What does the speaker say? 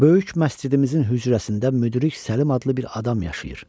Böyük məscidimizin hücrəsində müdrik Səlim adlı bir adam yaşayır.